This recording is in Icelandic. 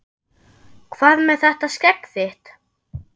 Hvað með þetta skegg þitt.